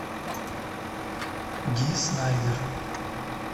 ди снайдер